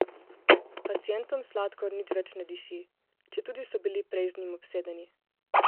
Pacientom sladkor nič več ne diši, četudi so bili prej z njim obsedeni.